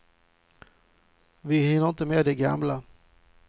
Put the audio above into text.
Vi hinner inte med de gamla.